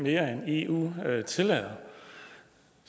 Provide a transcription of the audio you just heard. mere end eu tillader